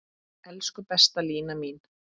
Elsku besta Lína mín.